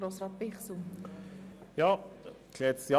Kommissionspräsident der FiKo.